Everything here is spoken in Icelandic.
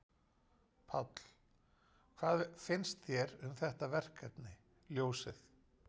Páll: Hvað finnst þér um þetta verkefni, ljósið?